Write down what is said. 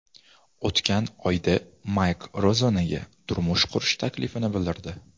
O‘tgan oyda Mayk Rozannaga turmush qurish taklifini bildirdi.